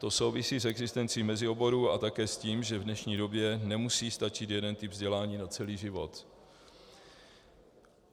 To souvisí s existenci mezioborů a také s tím, že v dnešní době nemusí stačit jeden typ vzdělání na celý život.